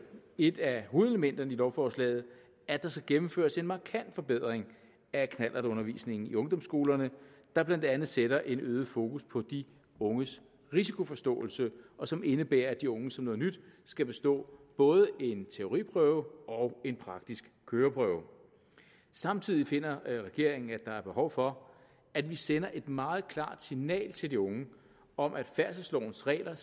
et af hovedelementerne i lovforslaget at der skal gennemføres en markant forbedring af knallertundervisningen i ungdomsskolerne der blandt andet sætter et øget fokus på de unges risikoforståelse og som indebærer at de unge som noget nyt skal bestå både en teoriprøve og en praktisk køreprøve samtidig finder regeringen at der er behov for at vi sender et meget klart signal til de unge om at færdselslovens regler